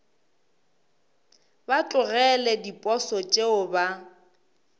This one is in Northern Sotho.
ba tlogele diposo tšeo ba